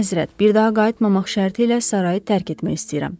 Əlahəzrət, bir daha qayıtmamaq şərti ilə sarayı tərk etmək istəyirəm.